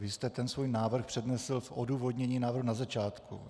Vy jste ten svůj návrh přednesl v odůvodnění návrhu na začátku.